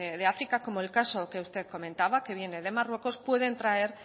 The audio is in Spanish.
de áfrica como el caso que usted comentaba que viene de marruecos pueden traer